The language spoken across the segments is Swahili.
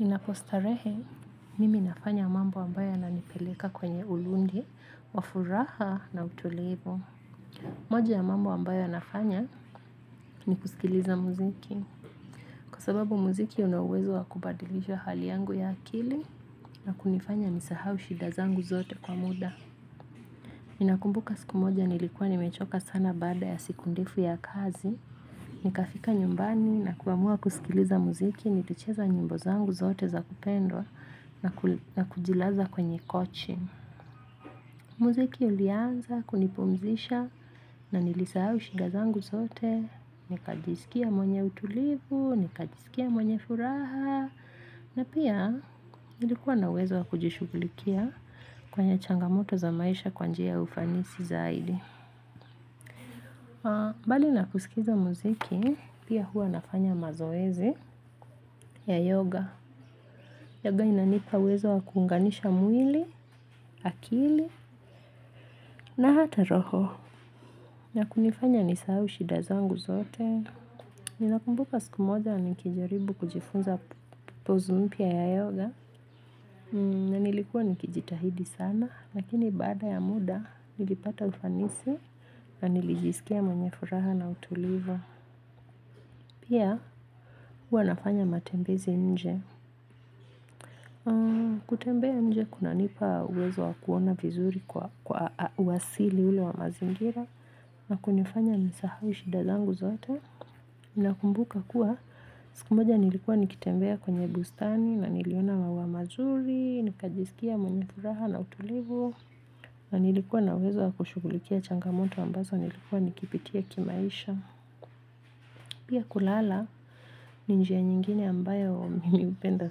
Ninapostarehe mimi nafanya mambo ambayo yananipeleka kwenye ulundi, wa furaha na utulivu. Moja ya mambo ambayo yanafanya ni kusikiliza muziki kwa sababu muziki una uwezo wa kubadilisha hali yangu ya akili na kunifanya nisahau shida zangu zote kwa muda. Ninakumbuka siku moja nilikuwa nimechoka sana baada ya siku ndefu ya kazi. Nikafika nyumbani na kuamua kusikiliza muziki, nikicheza nyimbo zangu zote za kupendwa na kujilaza kwenye kochi. Muziki ulianza, kunipumzisha na nilisahau shida zangu zote, nikajisikia mwenye utulivu, nikajisikia mwenye furaha, na pia nilikuwa na uwezo wa kujishughulikia kwenye changamoto za maisha kwa njia ya ufanisi zaidi. Bali na kusikiza muziki, pia huwa nafanya mazoezi ya yoga. Yoga inanipa uwezo wa kuunganisha mwili, akili, na hata roho. Na kunifanya nisahau shida zangu zote. Ninakumbuka siku moja nikijaribu kujifunza pozi mpya ya yoga. Na nilikuwa nikijitahidi sana, lakini baada ya muda nilipata ufanisi na nilijisikia mwenye furaha na utulivu. Pia huwa nafanya matembezi nje kutembea nje kunanipa uwezo wa kuona vizuri kwa uwasili ule wa mazingira na kunifanya nisahau shida zangu zote nakumbuka kuwa siku moja nilikuwa nikitembea kwenye bustani na niliona mauwa mazuri. Nikajisikia mwenye furaha na utulivu na nilikuwa na uwezo wa kushughulikia changamonto ambazo nilikuwa nikipitia kimaisha pia kulala, ni njia nyingine ambayo mimi hupenda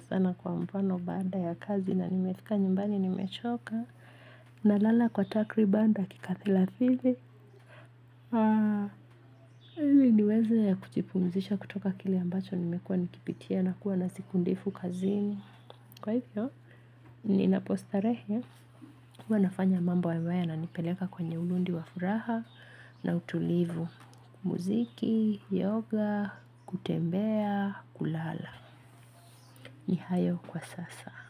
sana kwa mfano baada ya kazi na nimefika nyumbani nimechoka. Nalala kwa takriban dakika thelathini niweze ya kujipumzisha kutoka kile ambacho nimekuwa nikipitia na kuwa na siku ndefu kazini. Kwa hivyo, ninapostarehe. Huwa nafanya mambo ambayo yananipeleka kwenye ulundi wa furaha na utulivu. Muziki, yoga, kutembea, kulala ni hayo kwa sasa.